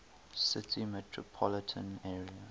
city metropolitan area